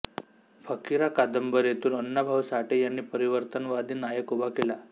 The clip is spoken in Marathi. फकिरा कादंबरीतून अण्णा भाऊ साठे यांनी परिवर्तनवादी नायक उभा केला